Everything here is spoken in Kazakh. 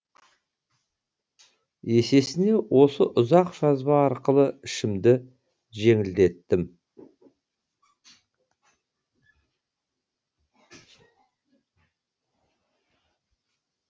есесіне осы ұзақ жазба арқылы ішімді жеңілдеттім